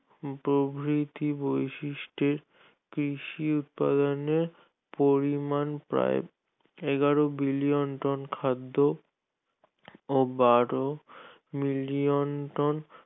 প্রভৃতি বৈশিষ্ট্য কৃষি উৎপাদনের পরিমাণ প্রায় এগারো billion ton খাদ্য ও বারো million ton